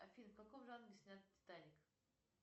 афина в каком жанре снят титаник